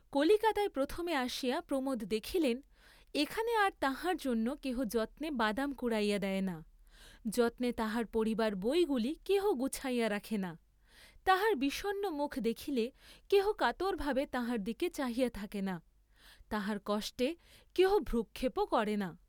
কলিকাতায় প্রথমে আসিয়া প্রমোদ দেখিলেন এখানে আর তাঁহার জন্য কেহ যত্নে বাদাম কুড়াইয়া দেয় না, যত্নে তাঁহার পড়িবার বইগুলি কেহ গুছাইয়া রাখে না, তাঁহার বিষণ্ণ মুখ দেখিলে কেহ কাতরভাবে তাঁহার দিকে চাহিয়া থাকে না, তাঁহার কষ্টে কেহ ভ্রূক্ষেপও করে না।